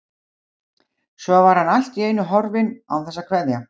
Svo var hann allt í einu horfinn án þess að kveðja.